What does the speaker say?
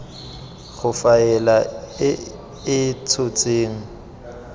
go faela e e tshotseng